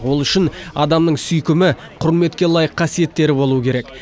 ол үшін адамның сүйкімі құрметке лайық қасиеттері болуы керек